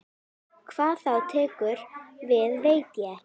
Hvað þá tekur við veit ég ekki.